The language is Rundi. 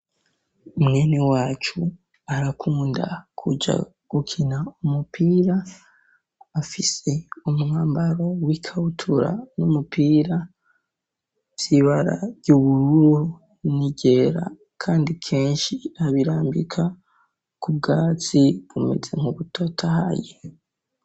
Umweni wacu arakunda kuja gukina umupira afise umwambaro w'i kawutura n'umupira vyibarary'ubururu nigera, kandi kenshi abirambika ku bwatsi bumeze nku butata aye.